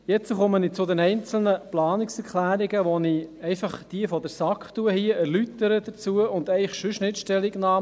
Jetzt komme ich zu den einzelnen Planungserklärungen, wobei ich hier diejenigen der SAK erläutere, aber zu den weiteren sonst nicht Stellung nehme.